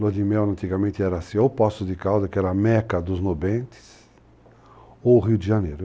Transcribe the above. Lua de Mel, antigamente, era assim, ou Poço de Calda, que era a meca dos nobentes, ou o Rio de Janeiro.